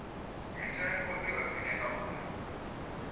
mitengo i vha khwine ngauri